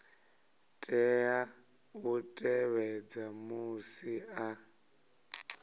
tea u tevhedza musi a